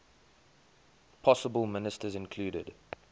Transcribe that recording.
possible ministers included